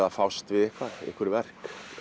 að fást við